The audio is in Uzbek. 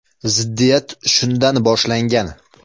Ziddiyat shundan boshlangan.